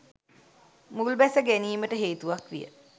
මුල්බැස ගැනීමට හේතුවක් විය.